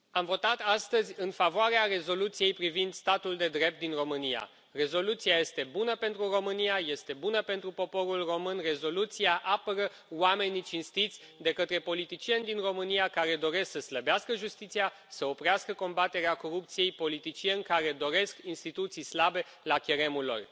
Domnule președinte, am votat astăzi în favoarea rezoluției privind statul de drept din România. Rezoluția este bună pentru România, este bună pentru poporul român, rezoluția apără oamenii cinstiți de către politicieni din România care doresc să slăbească justiția, să oprească combaterea corupției, politicieni care doresc instituții slabe la cheremul lor.